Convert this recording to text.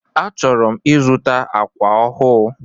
Achọrọ m ịzụta ákwà ọhụụ.